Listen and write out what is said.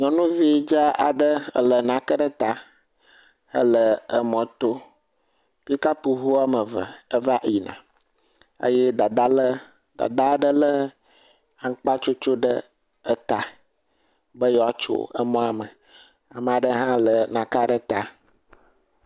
Nyɔnuvi dzaa aɖe lɛ nake ɖe ta hele emɔto. Pikapuŋu woame eve eva yina. Eye Dadaa lé, Dadaa aɖe lé aŋukpatsotso ɖe eta be yewoatso emɔa me. ame aɖe hã lɛ nakea ɖe ta.